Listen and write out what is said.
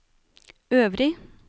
øvrig